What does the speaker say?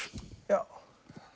já